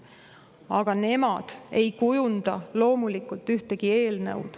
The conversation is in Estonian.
Aga nemad ei kujunda loomulikult ühtegi eelnõu.